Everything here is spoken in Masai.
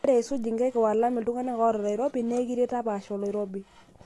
Ore aisuj inkaik o-alam iltungana oata oloirobi na ekiet napaasha oloirobi.